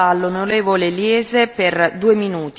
Frau Präsidentin, liebe Kolleginnen und Kollegen!